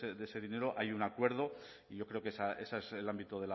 de ese dinero hay un acuerdo y yo creo que ese es el ámbito